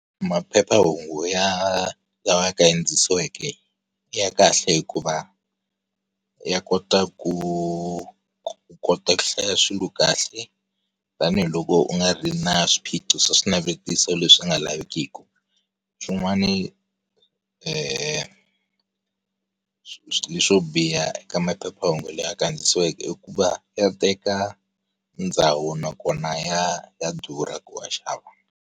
Maphephahungu ya lawa ya kandzisiweke, ya kahle hikuva, ya kota ku u kota ku hlaya swilo kahle, tanihiloko u nga ri na swiphiqo swa swinavetiso leswi u nga lavikiki. Swin'wana leswi swo biha eka maphephahungu lama kandziyisiweke i ku va ya teka, ndhawu nakona ya ya durha ku ya xava.